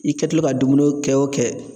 I kɛtɔla ka dumuni o kɛ o kɛ